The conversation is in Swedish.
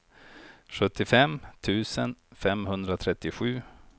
sjuttiofem tusen femhundratrettiosju